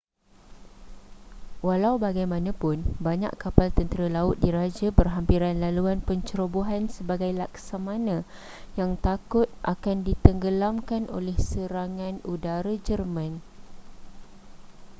walau bagaimanapun banyak kapal tentera laut diraja berhampiran laluan pencerobohan sebagai laksamana yang takut akan ditenggelamkan oleh serangan udara jerman